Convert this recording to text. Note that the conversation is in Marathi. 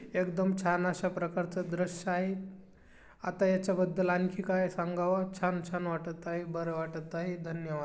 एकदम छान अशा प्रकारचा दृश्य आहे आता ह्याच्या बद्दल आणखी काय सांगावं छान छान वाटत आहे बरे वाटत आहे धन्यवाद.